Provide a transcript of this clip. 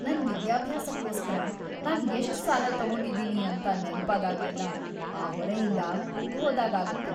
ನನ್ ವಿದ್ಯಾಭ್ಯಾಸಕ್ಕೋಸ್ಕರ ನಾನ್ ಎಷ್ಟ್ ಸಾಲ ತಗೊಂಡಿದ್ದೀನಿ ಅಂತ ನೆನ್ಪಾದಾಗ್ಲೆಲ್ಲ ಆ ಹೊರೆಯಿಂದ ಕುಗ್ಗ್‌ ಹೋದಾಗ್‌ ಆಗತ್ತೆ.